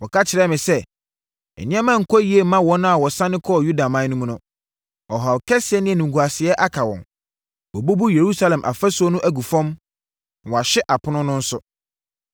Wɔka kyerɛɛ me sɛ, “Nneɛma nkɔ yie mma wɔn a wɔsane kɔɔ Yudaman mu no. Ɔhaw kɛseɛ ne animguaseɛ aka wɔn. Wɔabubu Yerusalem ɔfasuo no agu fam, na wɔahye apono no nso.”